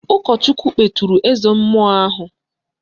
Ụkọchukwu kpeturu eze mmụọ ahụ